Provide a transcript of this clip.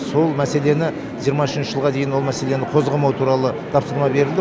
сол мәселені жиырма үшінші жылға дейін ол мәселені қозғамау туралы тапсырма берілді